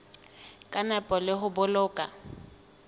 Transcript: ka nepo le ho boloka